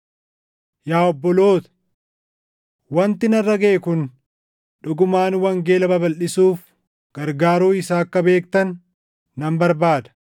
Yaa obboloota, wanti narra gaʼe kun dhugumaan wangeela babalʼisuuf gargaaruu isaa akka beektan nan barbaada.